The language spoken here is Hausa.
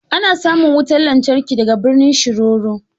Ana samun wutar lantarki daga birnin Shiroro